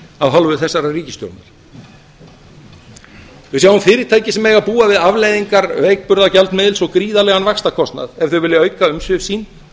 af hálfu þessarar ríkisstjórnar við sjáum fyrirtæki sem mega búa við afleiðingar veikburða gjaldmiðils og gríðarlegan vaxtakostnað ef þau vilja auka umsvif sín